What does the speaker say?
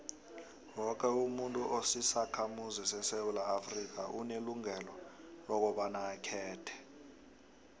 woke umuntu osisakhamuzi sesewula afrika unelungelo lokobaba akhethe